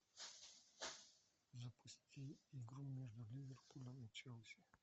запусти игру между ливерпулем и челси